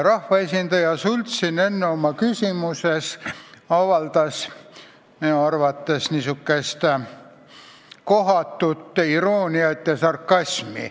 Rahvaesindaja Sults kasutas oma küsimuses minu arvates kohatut irooniat ja sarkasmi.